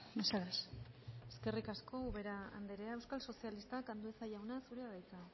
mesedez eskerrik asko ubera andrea euskal sozialistak andueza jauna zurea da hitza